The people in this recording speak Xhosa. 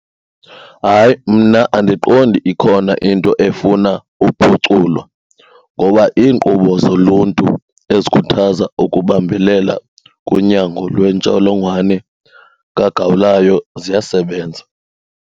Hay,i mna andiqondi ikhona into efuna uphuculo ngoba iinkqubo zoluntu ezikhuthaza ukubambelela kunyango lwentsholongwane kagawulayo ziyasebenza.